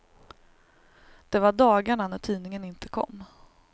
Det var dagarna när tidningen inte kom.